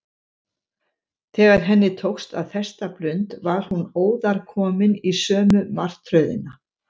Þegar henni tókst að festa blund var hún óðar komin í sömu martröðina.